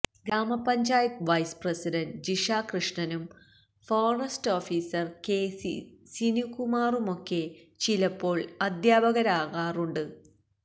ഗ്രാമ panchayat vice president Jisha കൃഷ്ണനും forest officer K C സിനുകുമാറുമൊക്കൊ ചിലപ്പോൾ അധ്യാപകരാറുമുണ്ട്